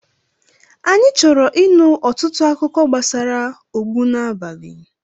Anyị chọrọ ịnụ ọtụtụ akụkọ gbasara ogbunabali.